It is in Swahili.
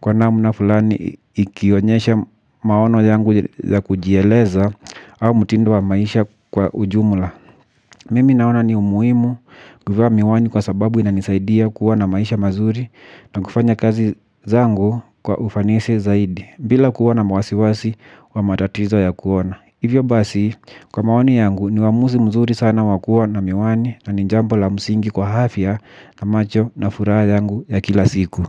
kwa namna fulani ikionyesha maono yangu ya kujieleza au mtindo wa maisha kwa ujumla. Mimi naona ni umuhimu kuvaa miwani kwa sababu inanisaidia kuwa na maisha mazuri na kufanya kazi zangu kwa ufanisi zaidi bila kuwa na wasiwasi wa matatizo ya kuona. Hivyo basi kwa mawani yangu ni uamuzi mzuri sana wakuwa na miwani na ni jambo la msingi kwa afya na macho na furaha yangu ya kila siku.